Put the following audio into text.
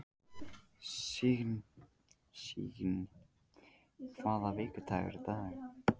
Sigyn, hvaða vikudagur er í dag?